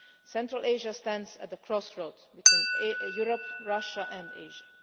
Central Asia stands at the crossroads between Europe, Russia and Asia.